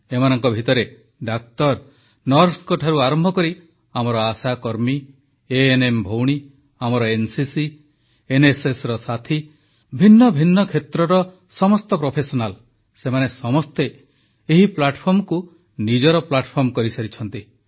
ଏମାନଙ୍କ ଭିତରେ ଡାକ୍ତର ନର୍ସଙ୍କଠାରୁ ଆରମ୍ଭକରି ଆମର ଆଶାକର୍ମୀ ଏଏନଏମ୍ ଭଉଣୀ ଆମର ଏନସିସି ଏନଏସଏସର ସାଥୀ ଭିନ୍ନ ଭିନ୍ନ କ୍ଷେତ୍ରର ପେସାଦାର ସେମାନେ ସମସ୍ତେ ଏହାକୁ ନିଜର ପ୍ଲାଟଫର୍ମ କରିସାରିଛନ୍ତି